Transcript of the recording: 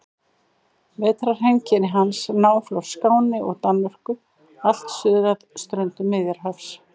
Vetrarheimkynni hans ná frá Skáni og Danmörku allt suður að ströndum Miðjarðarhafs.